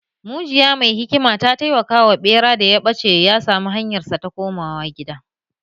Mujiya mai hikima ta taimaka wa ɓera da ya ɓace ya sami hanyarsa ta komawa gida